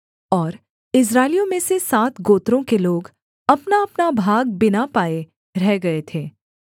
और इस्राएलियों में से सात गोत्रों के लोग अपनाअपना भाग बिना पाये रह गए थे